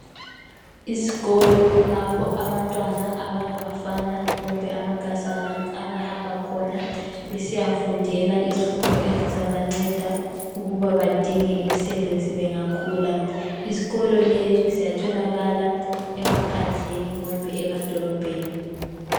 Izikolo lapho abantwana abangabafana kumbe amankazana abahamba khona besiyafundela izifundo ezizabanceda ukuba badinge imisebenzi bengakhula. Izikolo lezi ziyatholakala emaphandleni kumbe emadolobheni.